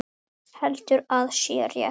Heldur að sé rétt.